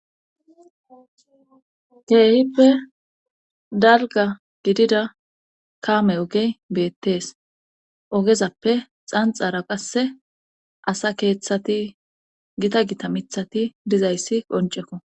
Keehippe dalgga gidida kaame ooge ybeettees oogezappe xanxara qasse asa keeththati gita gita miththati dizayssi qonccekko